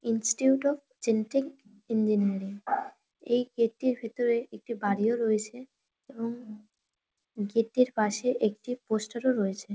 Institute of genetic engineering এই gate - টির ভিতরে একটা বাড়িও রয়েছে এবং গেট টির পাশে একটি পোস্টার - ও রয়েছে ।